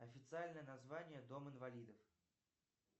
официальное название дом инвалидов